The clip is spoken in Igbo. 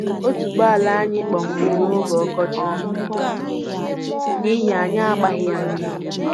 Otuboala anyị kpọnwụrụ n'oge ọkọchị n'ihi anyị agbaghị ha mmiri